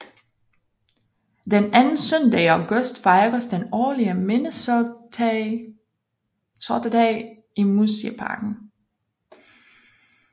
Den anden søndag i august fejres den årlige Minnesotadag i Museiparken